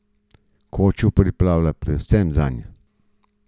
Kočo pripravlja predvsem zanj.